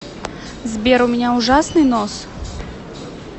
сбер у меня ужасный нос